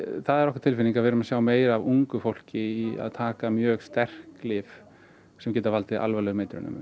það er okkar tilfinning að við erum að sjá meira af ungu fólki að taka mjög sterk lyf sem geta valdið alvarlegum eitrunum